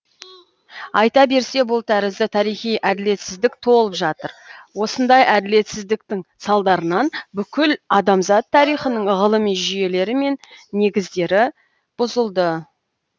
айта берсе бұл тәрізді тарихи әділетсіздік толып жатыр осындай әділетсіздіктің салдарынан бүкіл адамзат тарихының ғылыми жүйелері мен негіздері бұзылды